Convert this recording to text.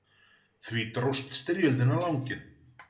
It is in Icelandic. Því dróst styrjöldin á langinn.